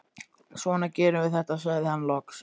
Svona gerum við þetta, sagði hann loks.